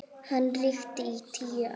Hann ríkti í tíu ár.